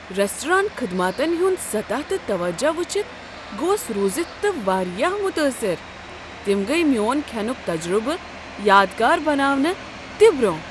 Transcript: Restaurant خدماتن ہُنٛد سطح تہٕ توجہ وٕچھِتھ گوس روٗزِتھ تہ واریاہ متاثر، تم گٔیہ میون كھینُک تجربہٕ یادگار بناونہ تہِ برونہہ۔